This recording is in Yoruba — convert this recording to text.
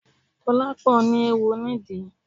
Dolapo ní eéwo nídìí